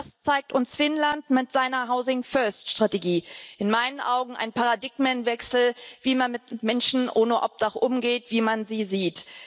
Das zeigt uns Finnland mit seiner Housing First Strategie in meinen Augen ein Paradigmenwechsel, wie man mit Menschen ohne Obdach umgeht, wie man sie sieht.